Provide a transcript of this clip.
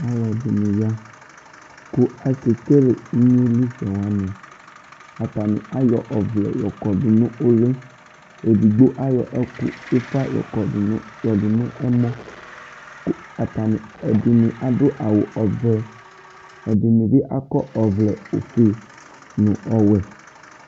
Alʋ ɛdini ya kʋ akekele inyili sɛ wani atani ayɔ ɔvlɛ yɔkɔdʋ nʋ ʋli edigbo ayɔ ufa yɔdʋ nʋ ɛmɔ kʋ ɛdini adʋ awʋ ɔvɛ ɛdinibi akɔ ɔvlɛfue nʋ ɔwɛ